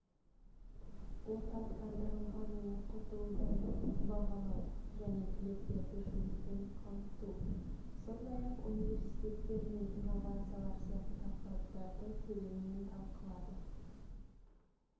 орталықтандырылған оқытуды бағалау және түлектерді жұмыспен қамту сондай-ақ университеттер мен инновациялар сияқты тақырыптарды тереңнен талқылады